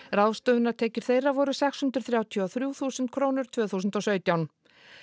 ráðstöfunartekjur þeirra voru sex hundruð þrjátíu og þrjú þúsund krónur tvö þúsund og sautján